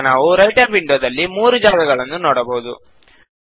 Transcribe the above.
ಈಗ ನಾವು writer window ದಲ್ಲಿ ಮೂರು ಜಾಗಗಳನ್ನು ನೋಡಬಹುದು